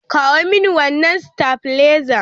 Kawo mini wannan stabilizer!